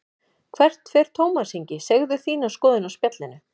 Hvert fer Tómas Ingi, segðu þína skoðun á Spjallinu